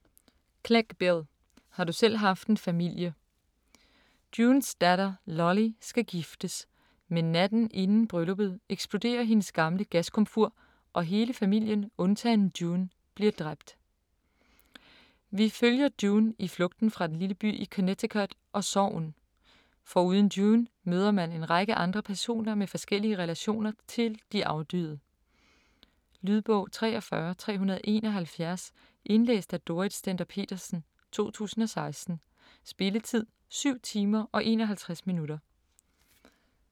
Clegg, Bill: Har du selv haft en familie Junes datter Lolly skal giftes, men natten inden brylluppet eksploderer hendes gamle gaskomfur, og hele familien undtagen June bliver dræbt. Vi følger June i flugten fra den lille by i Connecticut og sorgen. Foruden June møder man en række andre personer med forskellige relationer til de afdøde. Lydbog 43371 Indlæst af Dorrit Stender-Petersen, 2016. Spilletid: 7 timer, 51 minutter.